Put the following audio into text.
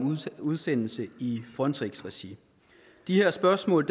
udsendelse i frontex regi det her spørgsmål